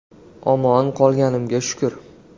“Omon qolganimga shukr”.